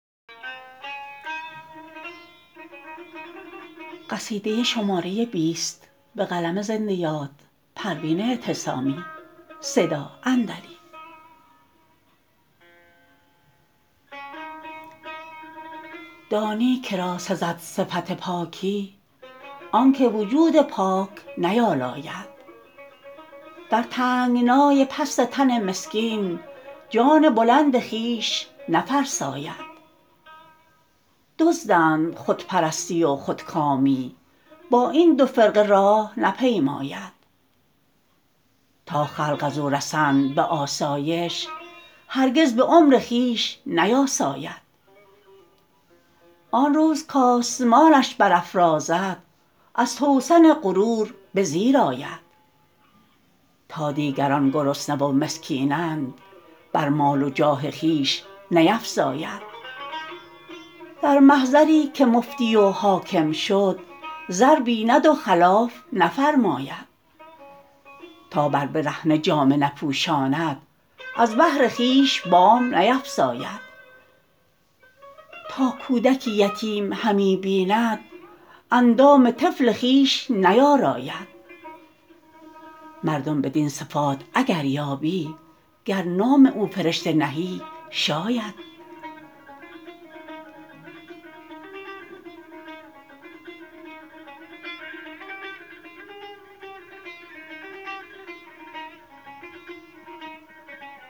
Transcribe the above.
دانی که را سزد صفت پاکی آنکو وجود پاک نیالاید در تنگنای پست تن مسکین جان بلند خویش نفرساید دزدند خود پرستی و خودکامی با این دو فرقه راه نپیماید تا خلق ازو رسند به آسایش هرگز به عمر خویش نیاساید آنروز کآسمانش برافرازد از توسن غرور بزیر آید تا دیگران گرسنه و مسکینند بر مال و جاه خویش نیفزاید در محضری که مفتی و حاکم شد زر بیند و خلاف نفرماید تا بر برهنه جامه نپوشاند از بهر خویش بام نیفراید تا کودکی یتیم همی بیند اندام طفل خویش نیاراید مردم بدین صفات اگر یابی گر نام او فرشته نهی شاید